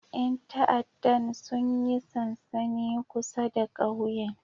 Yan ta'addan sun yi sansani kusa da kauyen